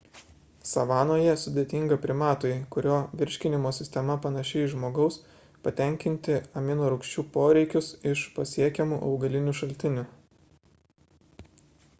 savanoje sudėtinga primatui kurio virškinimo sistema panaši į žmogaus patenkinti aminorūgščių poreikius iš pasiekiamų augalinių šaltinių